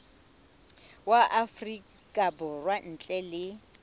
wa afrika borwa ntle le